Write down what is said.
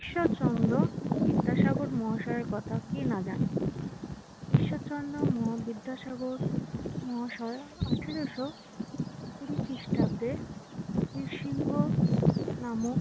ঈশ্বরচন্দ্র বিদ্যাসাগর মহাশয়ের কথা কে না জানে। ঈশ্বরচন্দ্র বিদ্যাসাগর মহাশয় আঠারোশ কুড়ি খ্রিষ্টাব্দে বীরসিংহ নামক